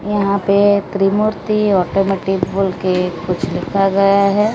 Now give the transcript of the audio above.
यहां पे Trimurti automatic bull के कुछ लिखा गया है।